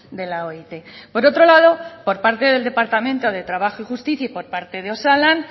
de la oit por otro lado por parte del departamento de trabajo y justicia y por parte de osalan